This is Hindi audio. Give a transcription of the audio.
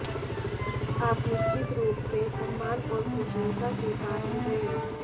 आप निश्चित रूप से सम्मान और प्रशंसा के पात्र हैं